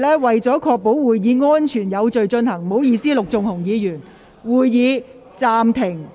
為確保會議安全有序進行，我會暫停會議，讓工作人員先行清理。